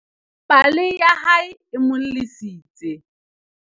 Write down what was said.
pale ya hae e mo llisitse